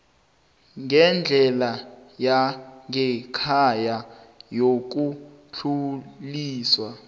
ngendlela yangekhaya yokudluliswa